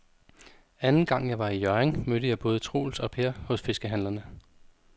Anden gang jeg var i Hjørring, mødte jeg både Troels og Per hos fiskehandlerne.